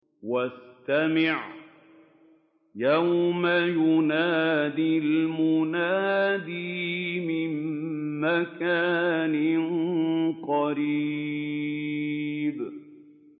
وَاسْتَمِعْ يَوْمَ يُنَادِ الْمُنَادِ مِن مَّكَانٍ قَرِيبٍ